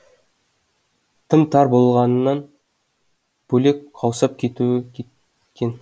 тым тар болғанынан бөлек қаусап кетеуі кеткен